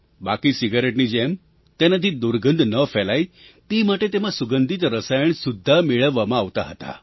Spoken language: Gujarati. બાકી સિગારેટની જેમ તેનાથી દુર્ગંધ ન ફેલાય તે માટે તેમાં સુગંધિત રસાયણ સુદ્ધાં મેળવવામાં આવતાં હતાં